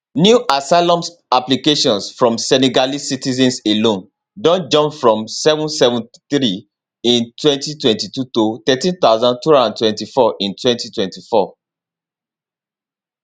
new asylum applications from senegalese citizens alone don jump from 773 in 2022 to 13224 in 2024